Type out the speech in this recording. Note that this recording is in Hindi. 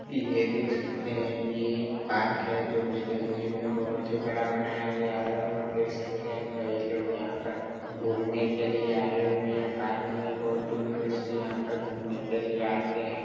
ये देख सकते है ये एक पार्क है जो की देखने में बहुत ही बड़ा बनाया गया है और देख सकते है कई लोग यहाँ पर घूमने के लिए आये हुए है पार्क में बहुत दूर-दूर से यहाँ पर घूमने के लिए आते है।